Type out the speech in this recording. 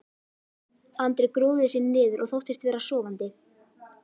Andri grúfði sig niður og þóttist vera sofandi.